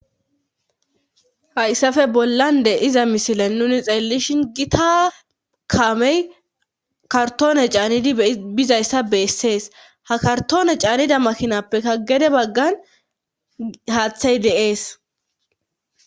hayssafe bollan de'iza misilan nuni xeellishin gita kamey kartoone caanidi bizayssa beessees ha kartoone caanida makinappeka gede baggan haaththey deees